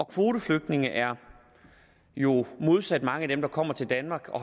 kvoteflygtninge er jo modsat mange af dem der kommer til danmark og